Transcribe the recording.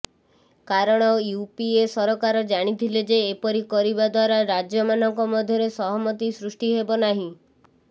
କାରଣ ୟୁପିଏ ସରକାର ଜାଣିଥିଲେ ଯେ ଏପରି କରିବା ଦ୍ୱାରା ରାଜ୍ୟମାନଙ୍କ ମଧ୍ୟରେ ସହମତି ସୃଷ୍ଟି ହେବ ନାହିଁ